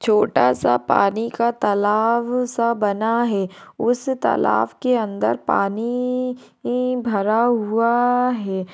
छोटा सा पानी का तालाब सा बना है उस तालाब के अंदर पानी नी ई भरा हुआ आ है।